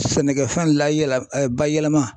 Sɛnɛkɛfɛn layɛlɛ bayɛlɛma